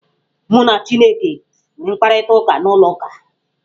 Mụ na chineke nwere mkparịtaụka n'ụlọ ụka.